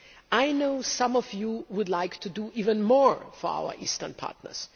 I know some of you would like to do even more for our eastern partners.